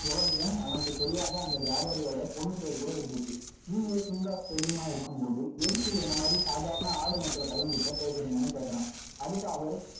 இவ்வளவு ஏன் அவனுக்கு தெரியாத அந்த வியாபாரியோட பொண்ணு பேரு கூட இருந்துச்சுநீங்க king of salilm ஆ இருக்கும்போது, எதுக்கு என்னை மாதிரி சாதாரண ஆடு மேய்க்கிற பையன்கிட்ட பேசுறீங்கன்னு கேட்கிறான். அதுக்கு அவர்